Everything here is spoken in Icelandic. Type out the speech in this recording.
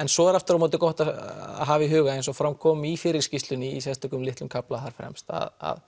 en svo er aftur á móti gott að hafa í huga eins og fram kom í fyrri skýrslunni í sérstökum litlum kafla þarna fremst að